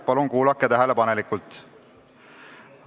Palun kuulake tähelepanelikult!